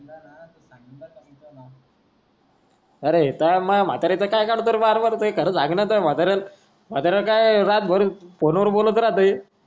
अरे तुयान माझ्या म्हतारी च काय काढतो रे बार बार खरा सांग ना तुझ्या म्हतार्याला रात भर बोलत राहते